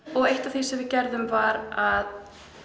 eitt af því sem við gerðum var að